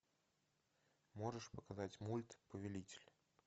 можешь показать мульт повелитель